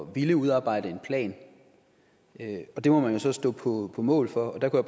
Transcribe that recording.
ville udarbejde en plan og det må man jo så stå på mål for der kunne